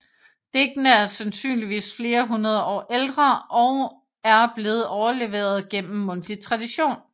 Digtene er sandsynligvis flere hundrede år ældre og er blevet overleveret gennem mundtlig tradition